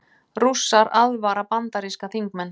Rússar aðvara bandaríska þingmenn